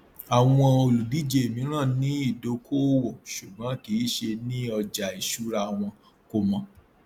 àwọn olùdíje mìíràn ní ìdókóòwò ṣùgbọn kìí ṣe ní ọjà ìṣura wọn kò mọ